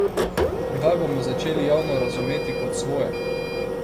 Kdaj bomo začeli javno razumeti kot svoje?